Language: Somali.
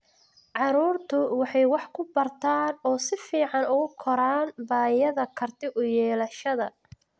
Carruurtu waxay wax ku bartaan oo si fiican ugu koraan bay'ada karti u yeelashada.